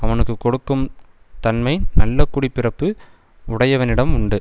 அவனுக்கு கொடுக்கும் தன்மை நல்ல குடி பிறப்பு உடையவனிடம் உண்டு